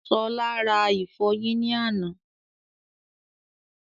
Ṣọlá rà ìfọyín ní àná